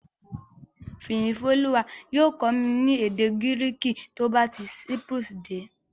Fìyìfólúwa yóò kọ́ mi ní èdè Gíríìkì tó bá ti Cyprus dé